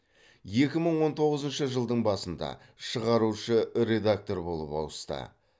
екі мың он тоғызыншы жылдың басында шығарушы редактор болып ауысты